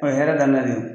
O ye hɛrɛ daminɛ de ye